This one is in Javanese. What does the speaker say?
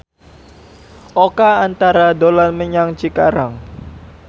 Oka Antara dolan menyang Cikarang